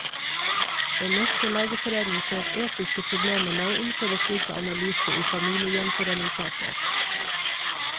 Den norske lægeforening ser etiske problemer med å innføre slik analyse i familiegjenforeningssaker.